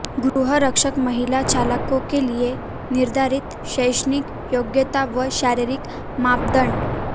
गृह रक्षक महिला चालकों के लिए निर्धारित शैक्षिणक योग्यता व शारीरिक मापदंड